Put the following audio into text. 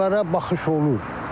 Bunlara baxış olur.